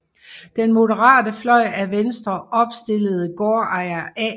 Den moderate fløj af Venstre opstillede gårdejer A